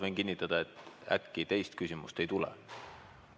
Võin kinnitada, et äkki teist küsimust ei tule.